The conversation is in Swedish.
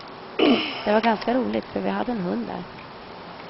Det var ganska roligt, för vi hade en hund där.